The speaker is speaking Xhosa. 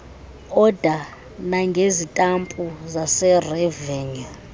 oda nangezitampu zaserevenyu